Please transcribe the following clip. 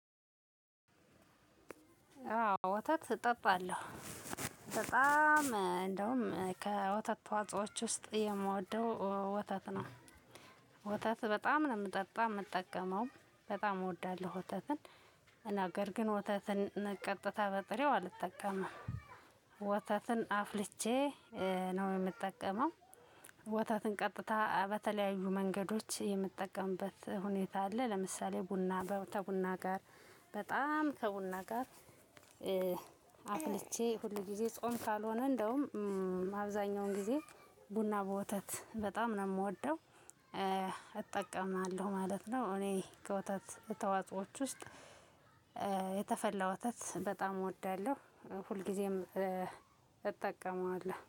ወተት እጠጣለሁ በጣም እንደውም ከ ወተት ተዋፆዎች ውስጥ የምወደው ወተት ነው። ወተት በጣም ነው የምጠጣው የምጠቀመው በጣም እወዳለሁ ወተትን። ነገርግን ወተትን ቀጥታ በጥሬው አልጠቀምም። ወተትን አፍልቼ ነው የምጠቀመው። ወተትን ቀጥታ በተለያዩ መንገዶች የምጠቀምበት ሁኔታ አለ ለምሳሌ ቡና ከቡና ጋር በጣም ከቡና ጋር። አፍልቼ ሁል ጊዜ ጾም ካልሆነ እንደውም አብዛኛውን ጊዜ ቡና በወተት በጣም ነው የምወደው። እጠቀማለሁ ማለት ነው። እኔ ከወተት ተዋጾዎች ውስጥ የተፈላ ወተት በጣም እወዳለሁ ሁልጊዜም እጠቀማለሁ